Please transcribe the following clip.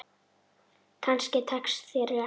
Kannski tekst þér þetta.